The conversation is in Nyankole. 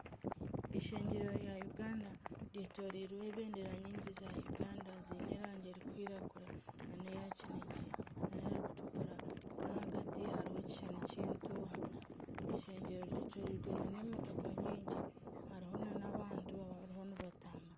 Eishengero rya Uganda ryetoreirweho ebendera nyingi za Uganda ziine erangi erikwiragura neya kinekye na erikutukura nahagati hariho ekishushani ky'entuuha, eishengero ryetoreirwe emotoka nyingi hariho n'abantu abariho nibatambura.